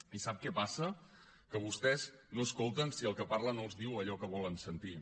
i sap què passa que vostès no escolten si el que parla no els diu allò que volen sentir